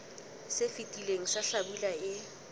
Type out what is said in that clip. se fetileng sa hlabula e